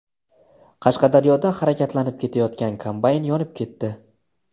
Qashqadaryoda harakatlanib ketayotgan kombayn yonib ketdi.